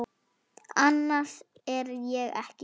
Annars er ég ekki viss.